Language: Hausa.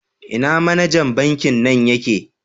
Ina manejan Banki nan ye ke?